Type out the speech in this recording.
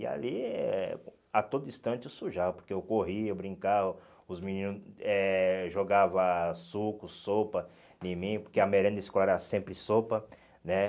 E ali, eh a todo instante eu sujava, porque eu corria, brincava, os meninos eh jogava suco, sopa em mim, porque a merenda escolar era sempre sopa, né?